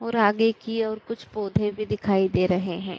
और आगे की ओर कुछ पौधे भी दिखाई दे रहे है।